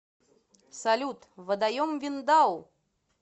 салют водоем виндау